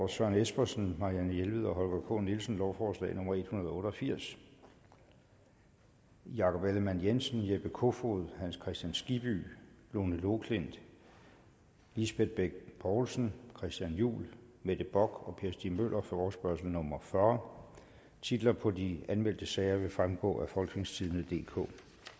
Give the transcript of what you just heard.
søren espersen marianne jelved og holger k nielsen lovforslag nummer l en hundrede og otte og firs jakob ellemann jensen jeppe kofod hans kristian skibby lone loklindt lisbeth bech poulsen christian juhl mette bock og per stig møller forespørgsel nummer f fyrre titler på de anmeldte sager vil fremgå af folketingstidende DK